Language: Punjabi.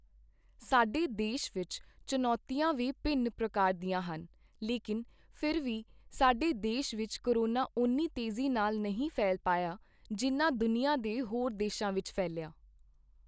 ਸਾਡੇ ਦੇਸ਼ ਵਿੱਚ ਚੁਣੌਤੀਆਂ ਵੀ ਭਿੰਨ ਪ੍ਰਕਾਰ ਦੀਆਂ ਹਨ, ਲੇਕੀਨ ਫਿਰ ਵੀ ਸਾਡੇ ਦੇਸ਼ ਵਿੱਚ ਕੋਰੋਨਾ ਓਨੀ ਤੇਜ਼ੀ ਨਾਲ ਨਹੀਂ ਫੈਲ ਪਾਇਆ, ਜਿੰਨਾ ਦੁਨੀਆ ਦੇ ਹੋਰ ਦੇਸ਼ਾਂ ਵਿੱਚ ਫੈਲਿਆ।